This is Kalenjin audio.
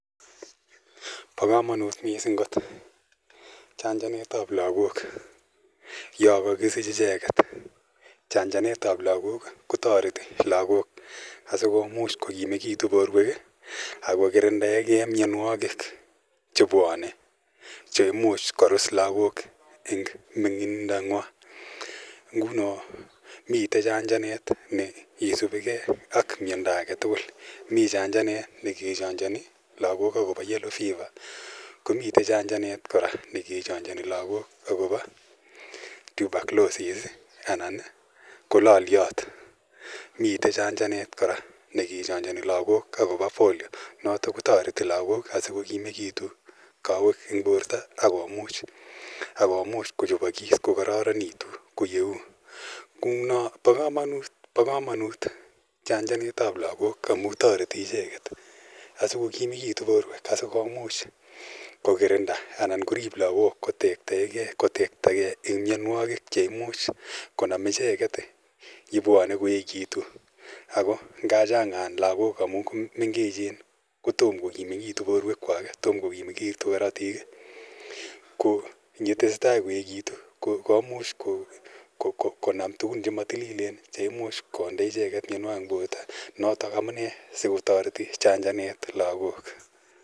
Pa kamanut missing' kot chanjanet ap lagok ya kakisich icheget. Chanjanet ap lagok ko tareti lagok asikopit kokimekitu porwek ak ko kirindaege mianwagik che pwane, che imuch korus lagok eng' ming'indo ng'wa. Mite chanjanet ne isupi ge ak miondo age tugul. Mi chanjanet ne ke chanjani lagok akopa Yellow fever, ko mite chanjanet kora ne ke chanjani lagok akopa Tuberculosis anan ko laliat. Mitei chanjanet kora ne kechanjani lagok akopa Polio. Notok ko tareti lagol asiko kimegitu kawek eng' porto ak komuch kochopakis kokararanitu kou yeu. Kou no, pa kamanut chanjanet ap lagok amu tareti ichek asikokimigitu porwek asikomuch kokirinda anan korip lagok kotektagei eng' mianwagik che imuch konam icheget ye pwane koekitu. Ako nga chang'an lagok amu mengechen ko toma kokimegitu porwekwak, toma ko kimegitu karatik. ko ye tese tai koekitu komuch konam tugun che matililen che imuch konde icheket mianwagik eng' porto. Notok amu nee si kotareti chanjanet lagok.